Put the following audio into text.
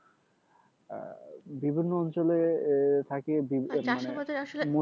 আহ বিভিন্ন অঞ্চলে থাকে